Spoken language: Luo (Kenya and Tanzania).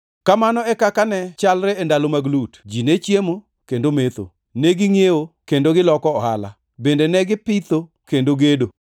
“Kamano e kaka ne chalre e ndalo mag Lut, ji ne chiemo, kendo metho, negingʼiewo kendo negiloko ohala, bende negipitho kendo gedo.